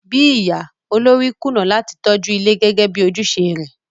Bíi ìyá, olórí kùnà láti tọ́jú ilé gẹ́gẹ́ bi ojúùse rẹ̀